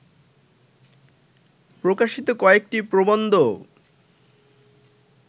প্রকাশিত কয়েকটি প্রবন্ধও